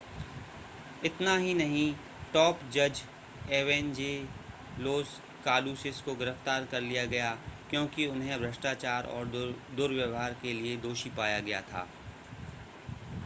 इतना ही नहीं टॉप जज एवेंजेलोस कालूसिस को गिरफ़्तार कर लिया गया क्योंकि उन्हें भ्रष्टाचार और दुर्व्यहार के लिए दोषी पाया गया था